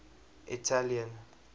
italian